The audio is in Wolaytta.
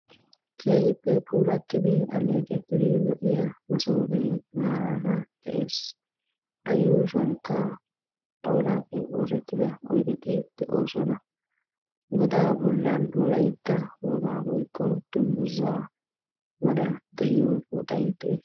keehippe puulatidi aleeqidi lo"iyaa massofetti marara dessi ayushuwanikka xawlappe oosettida oyde dessi godda yushuwanikka wolayitta dunguzzaykka kaqetidi uttisi.